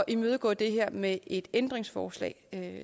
imødegå det her med et ændringsforslag